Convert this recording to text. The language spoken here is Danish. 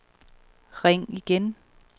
ring igen